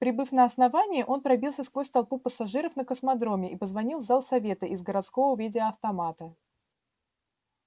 прибыв на основание он пробился сквозь толпу пассажиров на космодроме и позвонил в зал совета из городского видеоавтомата